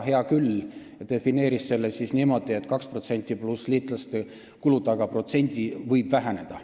Hea küll, defineeris selle niimoodi, et 2% pluss liitlaste kulud, aga protsent võib väheneda.